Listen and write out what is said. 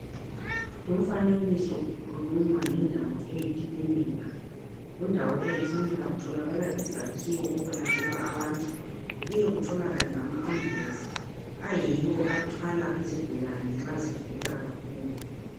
Lumfanekiso ukhuluma ngendawo eyi klinika .Kundawo eyi klinika kutholakala izakhiwo ekwelatshelwa khona abantu .Kubuye kutholakale lama ambulensi ,ayiwo athwala izigulane nxa zigula kakhulu .